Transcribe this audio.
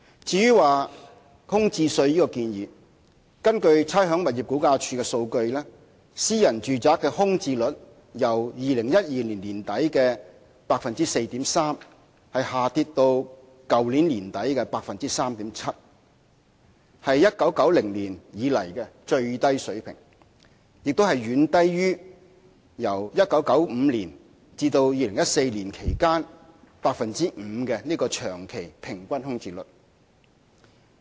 至於徵收空置稅的建議，根據差餉物業估價署的數據，私人住宅的空置率由2012年年底的 4.3% 下跌至去年年底的 3.7%， 是1990年以來的最低水平，亦遠低於由1995年至2014年期間的 5% 長期平均空置率。